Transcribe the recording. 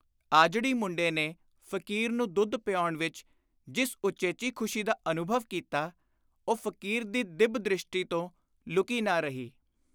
ਆਜੜੀ ਮੁੰਡੇ ਨੇ ਫ਼ਕੀਰ ਨੂੰ ਦੁੱਧ ਪਿਆਉਣ ਵਿਚ ਜਿਸ ਉਚੇਚੀ ਖ਼ੁਸ਼ੀ ਦਾ ਅਨੁਭਵ ਕੀਤਾ, ਉਹ ਫ਼ਕੀਰ ਦੀ ਦਿੱਬ-ਦ੍ਰਿਸ਼ਟੀ ਤੋਂ ਲੁਕੀ ਨਾ ਰਹੀ।